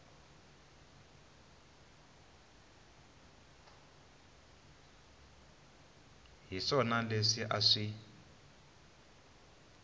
hi swona leswi a swi